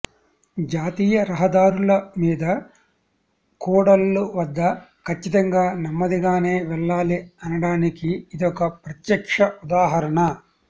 జాతీయ రహదారుల మీద కూడళ్ల వద్ద ఖచ్చితంగా నెమ్మదిగానే వెళ్లాలి అనడానికి ఇదొక ప్రత్యక్ష ఉదాహరణ